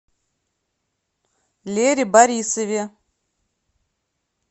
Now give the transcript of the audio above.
лере борисове